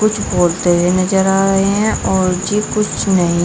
कुछ बोलते हुए नजर आ रहे हैं और जी कुछ नहीं।